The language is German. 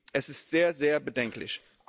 Es ist sehr, sehr bedenklich.